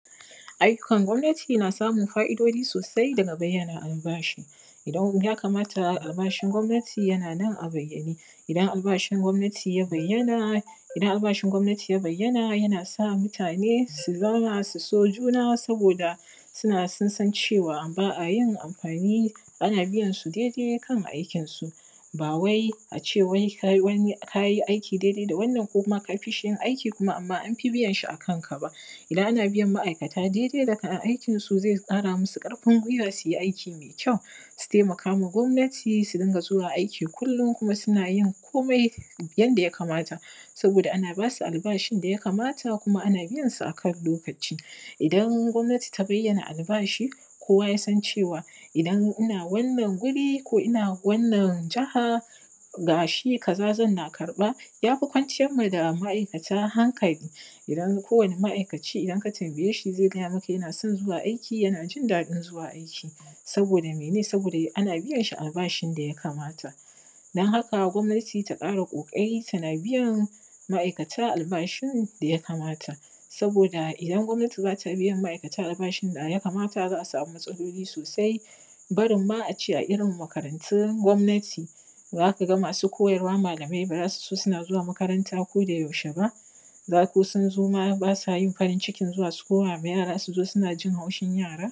Ayyukan gwamnati na samun fa’idojii sosai daga bayyana albashi idan ya kamata albashin gwamnati yana nan a bayyane idan albashin gwamnati ya bayyana idan albashin gwamnati ya bayyana yana sa mutane su zauna su so juna saboda sun san cewa ba a yin amfani ana biyansu dai dai kan aikinsu ba wai a ce wai kai wani kayi aiki dai dai da wannan ko ka fishi yin aiki kuma amma Anpi biyanshi a kan ka ba idan ana biyan ma’aikata dai dai da kayan aikinsu zai ƙara musu karfin guiwa su yi aiki mai kyau su taimakaa ma gwamnati su dinga zuwa aiki kullum kuma su na yin komai yanda ya kamata saboda ana ba su albashin da ya kamata kuma ana biyansu a kan lokaci idan gwamnati ta bayana albashi kowa yasan cewa idan ina wanan guri ko ina wanan jaha gashi kaza zanna karɓa ya fi kwanciyar ma ma’aikata hankali idan kowane ma’aikaci idan ka tambayeshi zai gaya maka yana son zuwa aiki yana jin daɗin zuwa aiki saboda mene saboda ana biyanshi albashin da ya kamata don haka gwamnati ta ƙara ƙoƙarii tana biyan ma’aikata albashin da ya kamata saboda idan gwamnati ba ta biyan albashin da ya kamata za a samu matsaloli sosai barin ma a ce a irin makarantun gwamnati za ka ga masu koyarwa malamai ba za su so suna zuwa makaranta kodayaushe ba za ko sun zo ma ba sa yin farin yikin zuwa su koma ma jara suna jin haushin yara